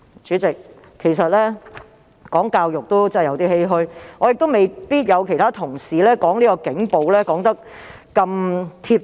主席，談到教育，其實我也有點欷歔，而我亦未必能夠像其他同事在論述警暴時般說得那麼精準。